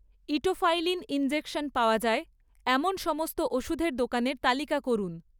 etofylline injection পাওয়া যায় এমন সমস্ত ওষুধের দোকানের তালিকা করুন